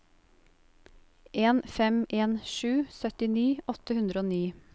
en fem en sju syttini åtte hundre og ni